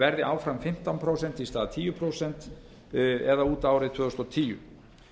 verði áfram fimmtán prósent í stað tíu prósent það er út árið tvö þúsund og tíu